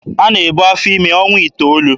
A na-ebu afọ ime ọnwa iteolu.